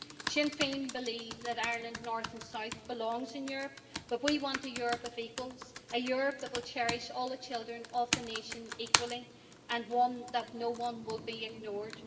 Sinn Féin believe that Ireland, north and south, belongs in Europe, but we want a Europe of equals, a Europe that will cherish all the children of the nation equally, and where no one will be ignored.